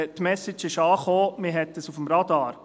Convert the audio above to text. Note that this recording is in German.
Die Message ist angekommen, man hat das auf dem Radar.